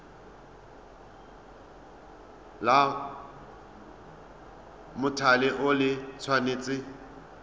la mothale o le tshwanetse